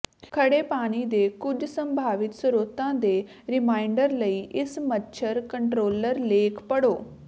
ਖੜ੍ਹੇ ਪਾਣੀ ਦੇ ਕੁਝ ਸੰਭਾਵਿਤ ਸਰੋਤਾਂ ਦੇ ਰੀਮਾਈਂਡਰ ਲਈ ਇਸ ਮੱਛਰ ਕੰਟਰੋਲਰ ਲੇਖ ਪੜ੍ਹੋ